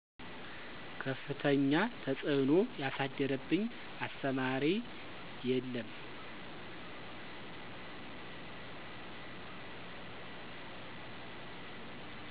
ከፍተኛ ተፅዕኖ ያሳደረብኝ አስተማሪ የለም።